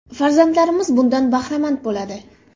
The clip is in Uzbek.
Farzandlarimiz bundan bahramand bo‘ladi.